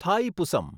Thaipusam